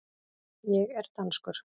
Ég er danskur.